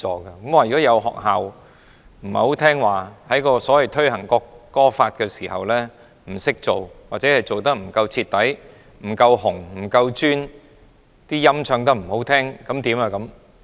如果有學校不聽話，在推行《國歌法》的時候做得不夠好，不夠徹底、不夠'紅'、不夠'尊'，唱得不好，怎麼辦呢？